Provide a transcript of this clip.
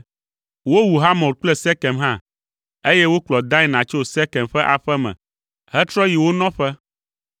Wowu Hamor kple Sekem hã, eye wokplɔ Dina tso Sekem ƒe aƒe me hetrɔ yi wo nɔƒe.